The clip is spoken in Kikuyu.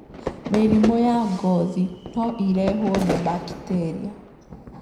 Mĩrimũ ya ngothi no ĩrehwo nĩ bakiteria.